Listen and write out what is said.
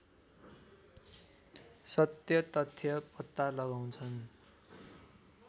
सत्यतथ्य पत्ता लगाउँछन्